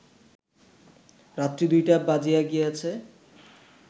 রাত্রি ২টা বাজিয়া গিয়াছে